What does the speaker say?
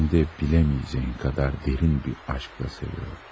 Həm də bilməyəcəyin qədər dərin bir eşqlə sevirdim.